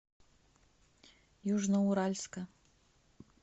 южноуральска